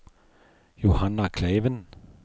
Johanna Kleiven